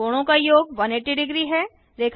कोणों का योग 1800 है